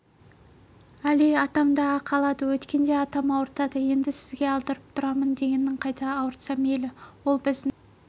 әли атам-ақ алады өткенде атам ауыртады енді сізге алдырып тұрамын дегенің қайда ауыртса мейлі ол біздің